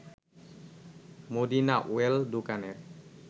Medina well দোকানের